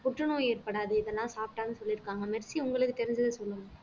புற்றுநோய் ஏற்படாது இதெல்லாம் சாப்பிட்டாங்கன்னு சொல்லியிருப்பாங்க மெர்சி உங்களுக்குத் தெரிஞ்சதைச் சொல்லுங்க